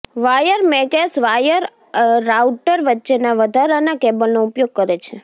wire મેગેઝ wire router વચ્ચેના વધારાના કેબલનો ઉપયોગ કરે છે